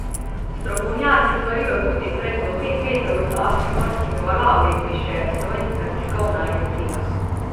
Strokovnjaki svarijo tudi pred do pet metrov visokimi morskimi valovi, piše Slovenska tiskovna agencija.